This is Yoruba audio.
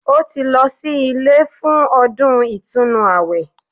Ó ti lọ sí ilé fún ọdún ìtúnu àwẹ̀